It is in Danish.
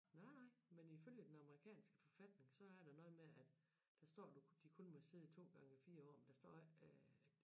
Nej nej men ifølge den amerikanske forfatning så er der noget med at der står du de kun må sidde i 2 gange 4 fire år der står ikke øh